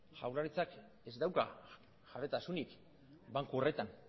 jaurlaritzak ez dauka jabetasunik banku horretan